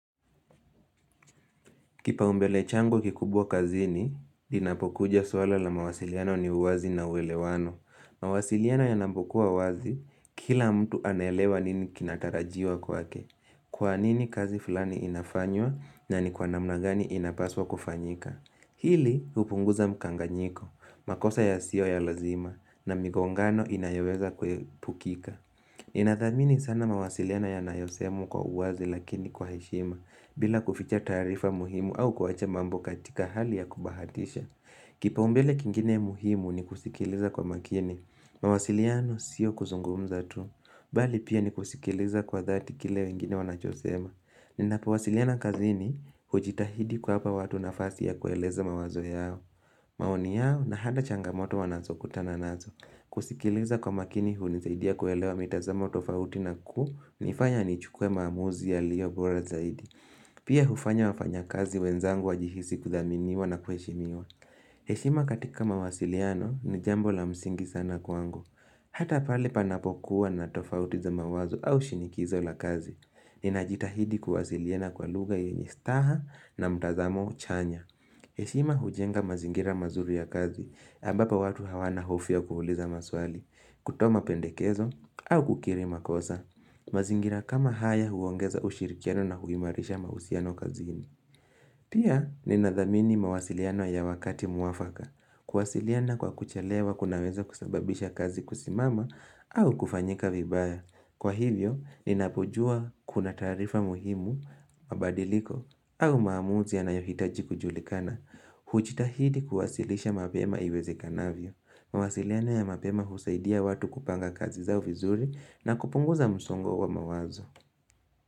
Kipaumbele changu kikubwa kazini, inapokuja swala la mawasiliano ni uwazi na uelewano. Mawasiliano yanapokuwa wazi, kila mtu anaelewa nini kinatarajiwa kwake. Kwanini kazi fulani inafanywa, na ni kwa namna gani inapaswa kufanyika. Hili, hupunguza mkanganyiko, makosa yasiyo ya lazima, na migongano inayoweza kuepukika. Ninathamini sana mawasiliano yanayosemwa kwa uwazi lakini kwa heshima bila kuficha taarifa muhimu au kuwacha mambo katika hali ya kubahatisha Kipaombele kingine muhimu ni kusikiliza kwa makini, mawasiliano sio kuzungumza tu Bali pia ni kusikiliza kwa thati kile wengine wanachosema Ninapowasiliana kazini hujitahidi kuwapa watu nafasi ya kueleza mawazo yao maoni yao na hata changamoto wanazokutana nazo kusikiliza kwa makini hunisaidia kuelewa mitazamo tofauti na kunifanya nichukue maamuzi yaliyo bora zaidi. Pia hufanya wafanyakazi wenzangu wajihisi kudhaminiwa na kuheshimiwa. Heshima katika mawasiliano ni jambo la msingi sana kwangu. Hata pale panapokuwa na tofauti za mawazo au shinikizo la kazi. Ninajitahidi kuwasiliana kwa lugha yenye staha na mtazamo chanya. Heshima hujenga mazingira mazuri ya kazi, ambapo watu hawana hofu ya kuuliza maswali, kutoa mapendekezo au kukiri makosa. Mazingira kama haya huongeza ushirikiano na huimarisha mahusiano kazini. Pia ninadhamini mawasiliano ya wakati muafaka. Kuwasiliana kwa kuchelewa kunaweza kusababisha kazi kusimama au kufanyika vibaya. Kwa hivyo, ninapojua kuna taarifa muhimu, mabadiliko au maamuzi yanayohitaji kujulikana. Hujitahidi kuwasilisha mapema iwezekanavyo. Mawasiliano ya mapema husaidia watu kupanga kazi zao vizuri na kupunguza msongo wa mawazo.